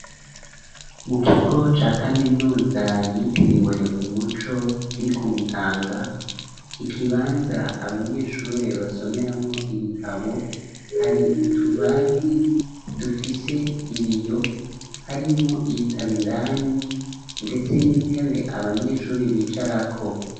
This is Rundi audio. Mu kigo, ca kaminuza, yitiriwe umuco, kiri ku Mutanga, ikibanza abanyeshure, basomeramwo ibitabo, hari utubati, dufise ibiyo; harimwo ibitabo indani, ndetse n'intebe, abanyeshuri bicarako.